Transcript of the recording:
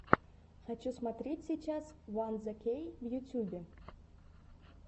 хочу смотреть сейчас ван зе кей в ютюбе